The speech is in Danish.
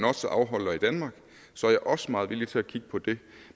afholder i danmark så er jeg også meget villig til at kigge på det